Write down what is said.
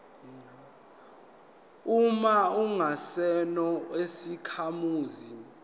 uma ungesona isakhamuzi